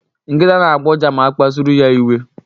Nkịta na-agbọ ụja ma a kpasuru ya iwe.